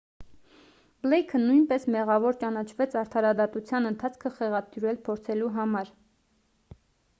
բլեյքը նույնպես մեղավոր ճանաչվեց արդարադատության ընթացքը խեղաթյուրել փորձելու համար